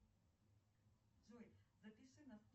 на завтра